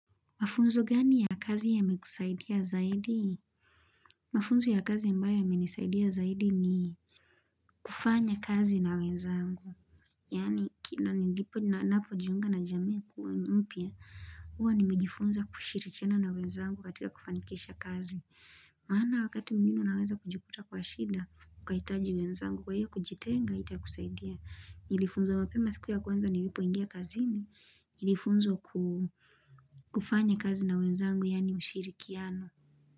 Mafunzo gani ya kazi yamekusaidia zaidi? Mafunzo ya kazi ambayo yamenisaidia zaidi ni kufanya kazi na wenzangu. Yani, kila nilipo na napojiunga na jameku, mpia, huwa nimejifunza kushirichena na wenzangu katika kufanikesha kazi. Maana wakati mwingine unaweza kujikuta kwa shida, kukaitaji wenzangu, kwa hiyo kujitenga, ita kusaidia. Nilifunzo mpema siku ya kwanza nilipoingia kazini nilifunzwa kufanya kazi na wenzangu yani mshirikiano.